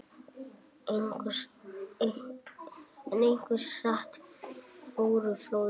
En hversu hratt fóru flóðin?